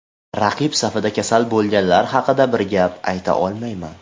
Raqib safida kasal bo‘lganlar haqida bir gap ayta olmayman.